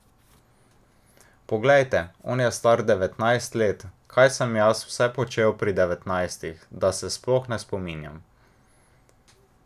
Poglejte, on je star devetnajst let, kaj sem jaz vse počel pri devetnajstih, da se sploh ne spominjam.